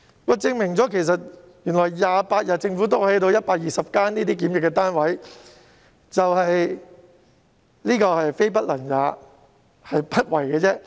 這證明政府只需要28天便能興建120個檢疫單位，可見政府非不能也，是不為也。